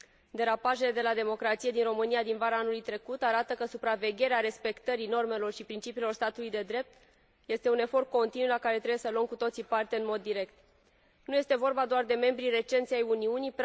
Derapajele de la democrație din România din vara anului trecut arată că supravegherea respectării normelor și principiilor statului de drept este un efort continuu, la care trebuie să luăm cu toții parte în mod direct. Nu este vorba doar de membrii recenți ai Uniunii